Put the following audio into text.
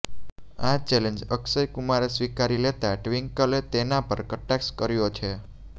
આ ચૅલેન્જ અક્ષયકુમારે સ્વીકારી લેતાં ટ્વિન્કલે તેના પર કટાક્ષ કર્યો છે